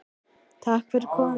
Takk fyrir komuna.